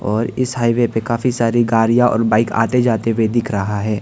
और इस हाइवे पे काफी सारी गाड़ियां और बाइक आते जाते हुए दिख रहा है।